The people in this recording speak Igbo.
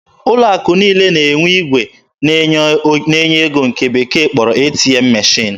Ụlọ akụ niile na-enwe igwe na-enye ego nke ndị bekee kpọrọ "ATM machine."